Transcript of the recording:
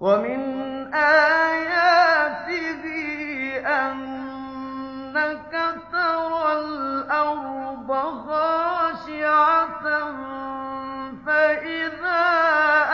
وَمِنْ آيَاتِهِ أَنَّكَ تَرَى الْأَرْضَ خَاشِعَةً فَإِذَا